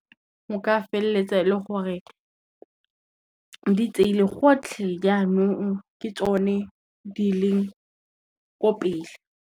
O ka feleletsa e le gore, di tseile gotlhe jaanong ke tsone di leng ko pele.